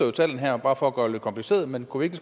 jo tallene her bare for at gøre det lidt kompliceret men kunne